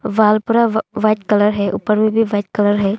Wall पूरा व white colour है ऊपर में भी व्हाइट कलर है।